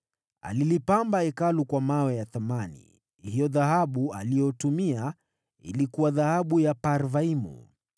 Alilipamba Hekalu kwa vito vya thamani. Hiyo dhahabu aliyotumia ilikuwa dhahabu ya Parvaimu.